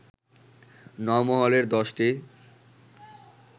নওমহলের দশটি